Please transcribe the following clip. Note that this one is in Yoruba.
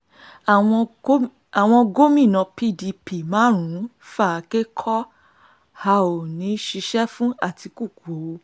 àwọn gómìnà pdp márùn-ún fàáké kọ́ a ò ní í ṣiṣẹ́ fún àtikukù o